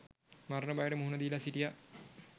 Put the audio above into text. මරණ බයට මුහුණ දීලා සිටියා.